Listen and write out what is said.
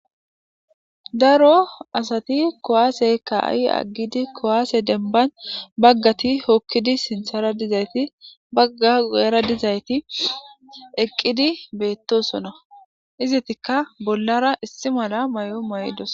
Da rt o asati kuwase ka'i agidi kuwase dembban baggatti sinththara dizayti baggay guyera dizaytti eqqidi bettossonna izettikka bollara issi mala mayo mayidossonna